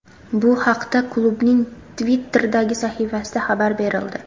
Bu haqda klubning Twitter’dagi sahifasida xabar berildi .